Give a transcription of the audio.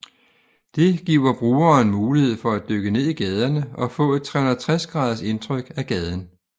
Det giver brugeren mulighed for at dykke ned i gaderne og få et 360 graders indtryk af gaden